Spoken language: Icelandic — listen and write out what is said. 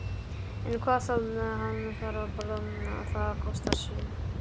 En hvað þá, hann þarf að borða, það kostar sitt.